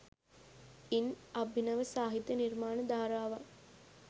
ඉන් අභිනව සාහිත්‍ය නිර්මාණ ධාරාවන්